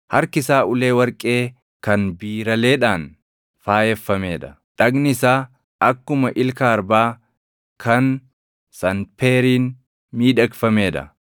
Harki isaa ulee warqee kan biiraleedhaan faayeffamee dha. Dhagni isaa akkuma ilka arbaa kan sanpeeriin miidhagfamee dha.